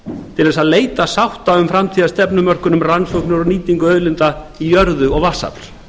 til að leita sátta um framtíðarstefnumörkun um rannsóknir og nýtingu í jörðu og vatnsafls